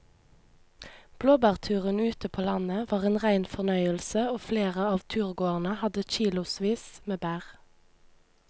Blåbærturen ute på landet var en rein fornøyelse og flere av turgåerene hadde kilosvis med bær.